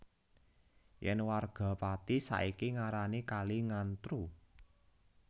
Yen warga Pati saiki ngarani kali Ngantru